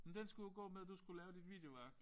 Men den skulle jo gå med du skulle lave dit videoværk